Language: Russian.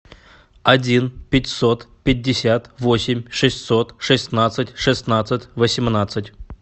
один пятьсот пятьдесят восемь шестьсот шестнадцать шестнадцать восемнадцать